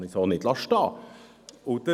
Dies kann man so nicht stehen lassen.